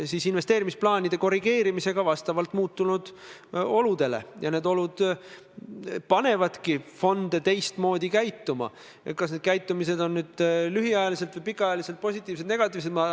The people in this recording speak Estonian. Mul on väga hea meel, et just eile, eile pärastlõunal vahetult enne meresõiduohutuse seaduse tänast lõpphääletust said osapooled, st majanduskomisjon, majandusministeerium ja Eesti Puuetega Inimeste Koda eesotsas tegevjuhiga, majanduskomisjonis ikkagi lõpuks kokku.